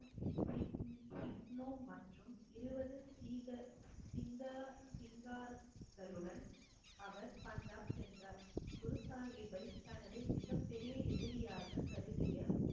sick~ சிக்னோ மற்றும் இருபது சீக சிங்கா~ சிங்கார்களுடன் அவர் பஞ்சாப் சென்றார் குரு சாகிப்பை தனது மிகப் பெரிய எதிரியாகக் கருதிய